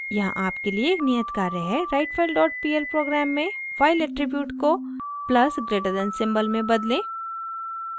यहाँ आपके लिए एक नियत कार्य है writefilepl प्रोग्राम में फाइल एट्रीब्यूट को +> सिंबल में बदलें